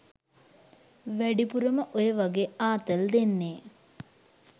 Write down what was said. වැඩිපුරම ඔය වගේ ආතල් දෙන්නේ